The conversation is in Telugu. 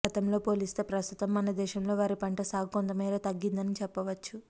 గతంతో పోలిస్తే ప్రస్తుతం మన దేశంలో వరి పంట సాగు కొంతమేర తగ్గిందని చెప్పవచ్చు